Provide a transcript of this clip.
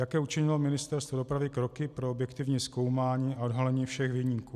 Jaké učinilo Ministerstvo dopravy kroky pro objektivní zkoumání a odhalení všech viníků?